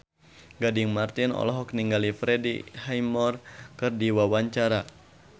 Gading Marten olohok ningali Freddie Highmore keur diwawancara